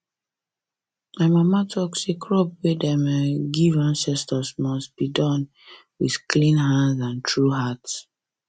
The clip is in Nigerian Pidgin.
my mama talk say crop way dem um dey give the ancestors must um be Accepted um with clean hand and true heart